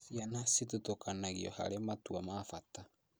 Ciana cithutũkanagio harĩ matua ma bata